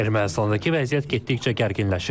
Ermənistandakı vəziyyət getdikcə gərginləşir.